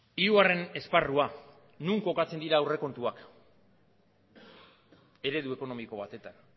hirugarren esparrua non kokatzen dira aurrekontuak eredu ekonomiko batetan